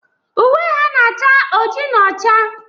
Uwe ha na-acha oji na ọcha.